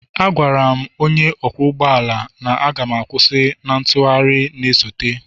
Agwara m onye ọkwọ ụgbọ ala na m ga-kwusi na ntụgharị na-esote,